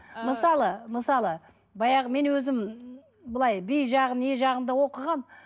мысалы мысалы баяғы мен өзім былай би жағын не жағын да оқығанмын